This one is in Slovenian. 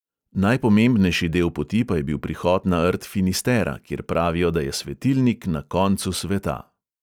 Najpomembnejši del poti pa je bil prihod na rt finistera, kjer pravijo, da je svetilnik na koncu sveta.